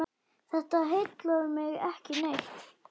Þetta heillar mig ekki neitt.